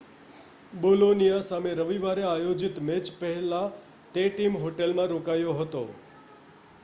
Bologna સામે રવિવારે આયોજિત મેચ પહેલાં તે ટીમ હોટેલમાં રોકાયો હતો